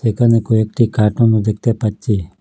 এখানে কয়েকটি কার্টুনও দেখতে পাচ্ছি।